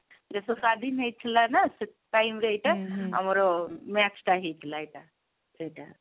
ଦେଶ ସ୍ଵାଧୀନ ହେଇଥିଲା ନା ସେ time ରେ ହେଇଥିଲା ଆମର match ଟା ହେଇଥିଲା ଏଇଟା ଏଇଟା